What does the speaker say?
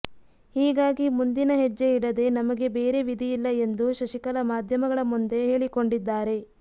ಹೀಗಾಗಿ ಮುಂದಿನ ಹೆಜ್ಜೆ ಇಡದೆ ನಮಗೆ ಬೇರೆ ವಿಧಿಯಿಲ್ಲ ಎಂದು ಶಶಿಕಲಾ ಮಾಧ್ಯಮಗಳ ಮುಂದೆ ಹೇಳಿಕೊಂಡಿದ್ದಾರೆ